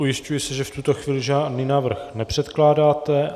Ujišťuji se, že v tuto chvíli žádný návrh nepředkládáte.